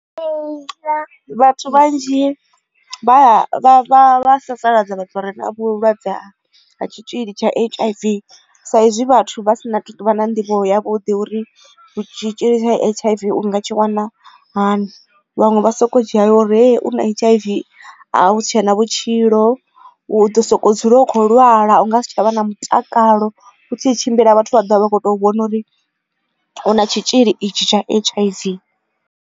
Vhathu vhanzhi vha sasaladza vhathu vha re na vhulwadze ha tshitzhili tsha H_I_V sa izwi vhathu vha si na tuvha na nḓivho ya vhuḓi uri tshitzhili tsha H_I_V unga tshi wana hani vhaṅwe vha soko dzhia uri u na H_I_V a hu tshena vhutshilo u ḓo sokou dzula u kho lwala unga si tshavha na mutakalo u tshi tshimbila vhathu vha ḓovha vha kho to vhona uri hu na tshitzhili itsho tsha H_I_V.